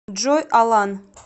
джой алан